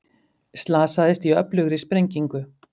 Slasaðist í öflugri sprengingu